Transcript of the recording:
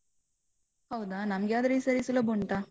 ಹೌದಾ, ನಮ್ಗೆ ಆದ್ರೆ ಈ ಸಲ ಸುಲಭ ಉಂಟ.